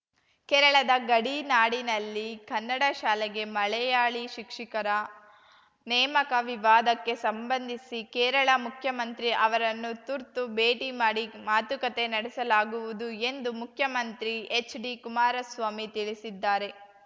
ಕೇರಳದ ಗಡಿನಾಡಿನಲ್ಲಿ ಕನ್ನಡ ಶಾಲೆಗೆ ಮಲೆಯಾಳಿ ಶಿಕ್ಷಿಕರ ನೇಮಕ ವಿವಾದಕ್ಕೆ ಸಂಬಂಧಿಸಿ ಕೇರಳ ಮುಖ್ಯಮಂತ್ರಿ ಅವರನ್ನು ತುರ್ತು ಭೇಟಿ ಮಾಡಿ ಮಾತುಕತೆ ನಡೆಸಲಾಗುವುದು ಎಂದು ಮುಖ್ಯಮಂತ್ರಿ ಎಚ್‌ಡಿ ಕುಮಾರಸ್ವಾಮಿ ತಿಳಿಸಿದ್ದಾರೆ